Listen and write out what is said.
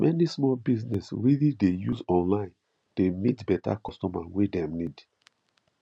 many small business really dey use online dey meet better customer wey dem need